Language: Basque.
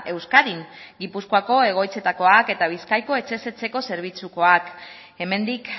euskadin gipuzkoako egoitzetakoak eta bizkaiko etxez etxeko zerbitzukoak hemendik